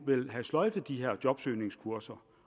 vil have sløjfet de her jobsøgningskurser